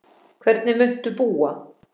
Hvernig muntu búa?